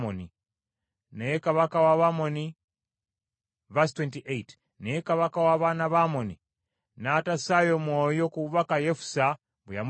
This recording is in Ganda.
Naye kabaka w’abaana ba Amoni n’atassaayo mwoyo ku bubaka Yefusa bwe yamutumira.